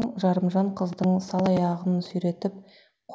жұмамұраттың жарымжан қыздың сал аяғын сүйретіп